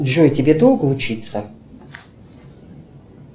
джой тебе долго учиться